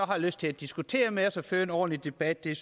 har lyst til at diskutere med os og føre en ordentlig debat det er